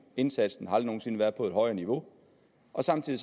indsatsen har aldrig nogen sinde været på et højere niveau og samtidig